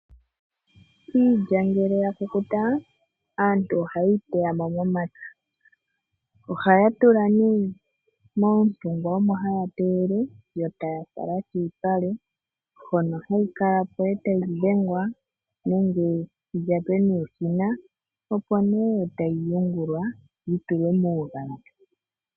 Iilya ngele ya kukuta aantu ohaye yi teyamo momapya ohaya tula nee moontungwa omo haya teyele yo taya fala kiipale hono hayi kalapo e tayi dhengwa nenge yi lyatwe nuushina opo ne tayi yungulwa yi tulwe muugadhi.